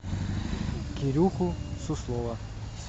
кирюху суслова